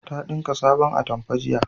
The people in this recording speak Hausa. Ta dinka sabon atamfa jiya